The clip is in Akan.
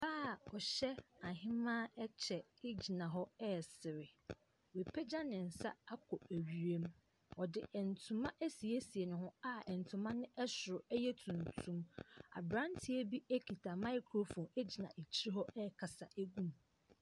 A ɔhyɛ ahemaa kyɛ gyina hɔ resere. Wapagya ne nsa akɔ ewiem. Ↄde ntoma asiesie ne ho a ntoma no soro yɛ tuntum. Abranteɛ bi kita microphone gyina akyire hɔ rekasa gu mu.